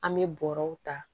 An bɛ bɔrɛw ta